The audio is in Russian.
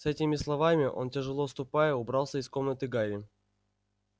с этими словами он тяжело ступая убрался из комнаты гарри